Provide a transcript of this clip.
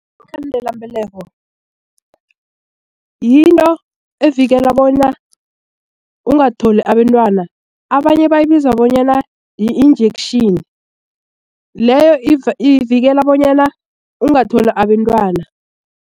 Iinkhandelambeleko yinto evikela bona ungatholi abentwana abanye bayibiza bonyana yi-injection leyo ivikela bonyana ungatholi abentwana.